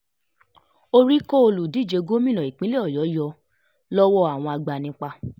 orí kọ́ olùdíje um gómìnà ìpínlẹ̀ ọ̀yọ́ yọ um lọ́wọ́ àwọn agbanipa